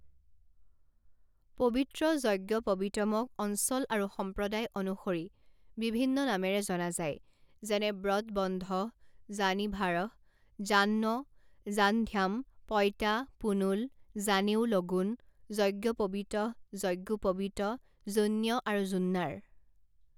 পবিত্ৰ যজ্ঞপৱিতমক অঞ্চল আৰু সম্প্ৰদায় অনুসৰি বিভিন্ন নামেৰে জনা যায় যেনে ব্ৰতবন্ধঃ জানিভাৰঃ জান্ৱ জানধ্যাম পইতা পুণুল জানেউ লগুন যজ্ঞপৱিতঃ যজ্ঞোপৱিত যোন্য আৰু জুন্নাৰ।